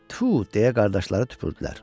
Tfu! – deyə qardaşları tüpürdülər.